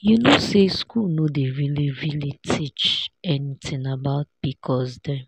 you know say school no dey really really teach anything about pcosdem